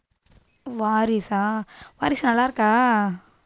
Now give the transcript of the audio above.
வாரிசா? Varisu நல்லாருக்கா?